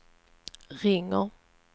ringer